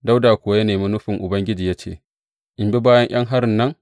Dawuda kuwa ya nemi nufin Ubangiji ya ce, In bi bayan ’yan harin nan?